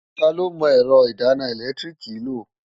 Ta ló mọ ẹ̀rọ ìdáná ẹ̀lẹ́tíríìkì lò?